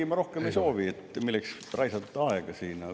Ei, ma rohkem ei soovi, milleks siin aega raisata.